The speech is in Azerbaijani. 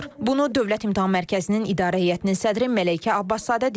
Bunu Dövlət İmtahan Mərkəzinin İdarə Heyətinin sədri Məleykə Abbaszadə deyib.